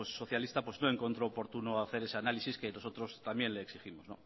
socialista no encontró oportuno hacer ese análisis que nosotros también le exigimos